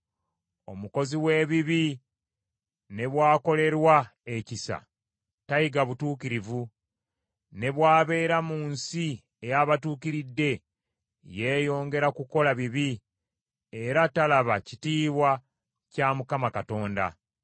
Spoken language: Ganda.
Omukozi w’ebibi ne bw’akolerwa ebyekisa, tayiga butuukirivu. Ne bw’abeera mu nsi ey’abatuukiridde, yeeyongera kukola bibi, era talaba kitiibwa kya Mukama Katonda.